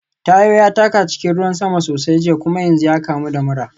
Tayo ya taka cikin ruwan sama sosai jiya kuma yanzu ya kamu da mura.